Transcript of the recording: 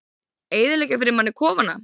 Eyðileggja fyrir manni kofana!